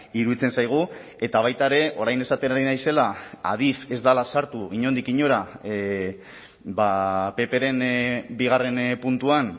iruditzen zaigu eta baita ere orain esaten ari naizela adif ez dela sartu inondik inora ppren bigarren puntuan